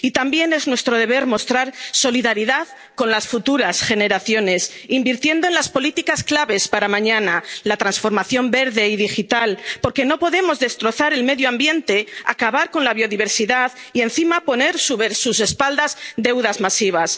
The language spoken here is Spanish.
Infantil. Y también es nuestro deber mostrar solidaridad con las futuras generaciones, invirtiendo en las políticas claves para mañana la transformación verde y digital, porque no podemos destrozar el medio ambiente, acabar con la biodiversidad y, encima, poner sobre sus espaldas deudas